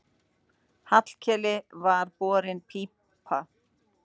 Hallkeli var borin pípa.